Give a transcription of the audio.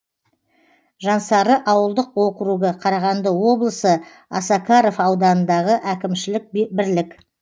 жансары ауылдық округі қарағанды облысы осакаров ауданындағы әкімшілік бірлік